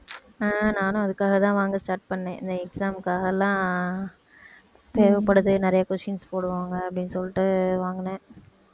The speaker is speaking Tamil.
அஹ் நானும் அதுக்காகத்தான் வாங்க start பண்ணேன் இந்த exam க்காக எல்லாம் தேவைப்படுது நிறைய questions போடுவாங்க அப்படின்னு சொல்லிட்டு வாங்குனேன்